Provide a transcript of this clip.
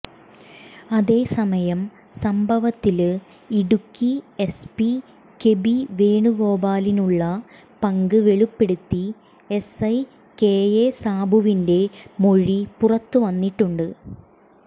അതെസമയം സംഭവത്തില്ഡ Idukki SP KB വേണുഗോപാലിനുള്ള പങ്ക് വെളിപ്പെടുത്തി എസ്ഐ കെഎ സാബുവിന്റെ മൊഴി പുറത്തു വന്നിട്ടുണ്ട്